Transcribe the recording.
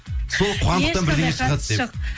сол қуандықтан бірдеңе шығады деп